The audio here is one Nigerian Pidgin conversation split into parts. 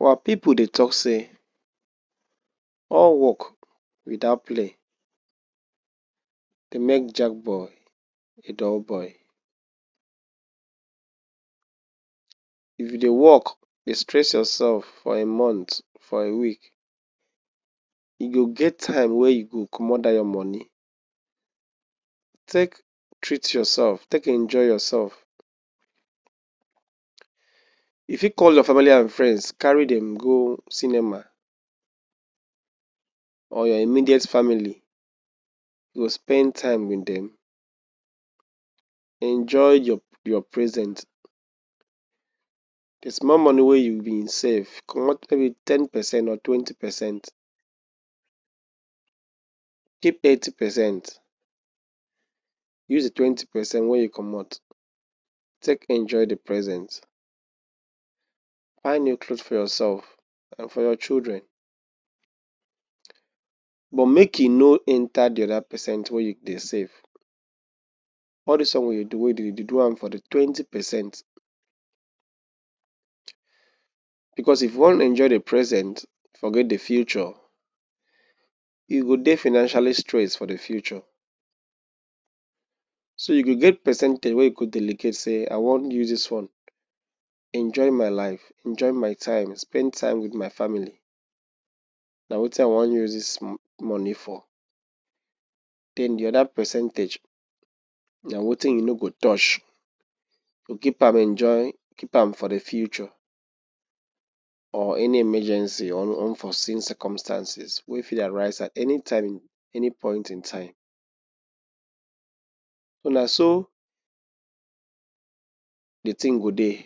Our pipu dey tok say all wok without play dey make Jack boy a dull boy. If you dey wok, dey stress yoursef for him month, for a week e go get time wey you go comot that your moni take treat yoursef, take enjoy yoursef. You fit call your family and friends, carry dem go cinema, or your immediate family. You go spend time wit dem, enjoy your presence. The small moni wey you bin save, comot any ten percent or twenty percent, keep eighty percent. Use the twenty percent wey you comot take enjoy the presence, buy new cloth for yoursef and for your children. Make you no enta the oda percent wey you dey save. All dis one wey e dey do, e go dey do am for the twenty percent. Bicos if you wan enjoy the presence forget the future, you go dey financially stress for the future. So you go get percentage wey you go delegate say, use dis funds enjoy my life, enjoy my time, spend time wit my family. Na wetin I wan use dis moni for. Den the oda percentage na wetin you no go touch, keep am for the future or any emergency or unforseen matta wey fit arise any time and any point in time. Na so di tin go dey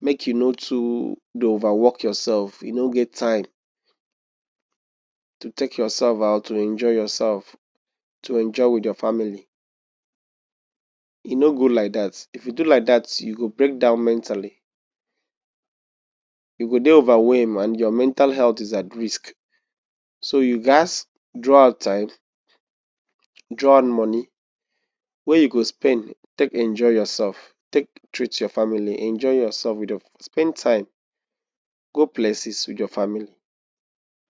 make you no too dey overwork yoursef. You no get time to take yoursef out, to enjoy yoursef, to enjoy wit your family. You no good like dat. If you do like dat you go break down mentally, you go dey overwhelmed, and your mental health dey at risk. So you gats draw out time, draw out moni wey you go spend, take enjoy yoursef, take treat your family, spend time, go places wit your family.